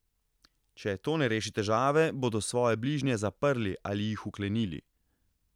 Če to ne reši težave, bodo svoje bližnje zaprli ali jih vklenili.